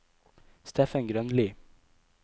Steffen Grønli